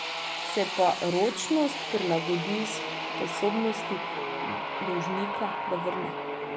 Se pa ročnost prilagodi sposobnosti dolžnika, da vrne.